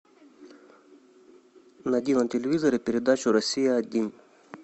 найди на телевизоре передачу россия один